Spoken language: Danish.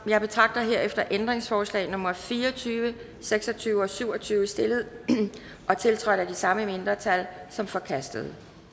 jeg betragter herefter ændringsforslag nummer fire og tyve seks og tyve og syv og tyve stillet og tiltrådt af de samme mindretal som forkastet